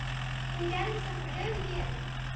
Hún gerði það með glöðu geði.